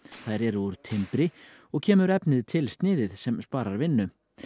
þær eru úr timbri og kemur efnið tilsniðið sem sparar vinnu